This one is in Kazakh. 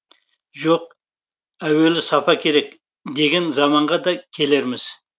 жоқ әуелі сапа керек деген заманға да келерміз